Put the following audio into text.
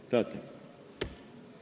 Kas tahate?